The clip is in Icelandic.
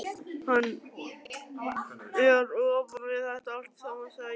Hann er ofan við þetta allt saman, sagði ég.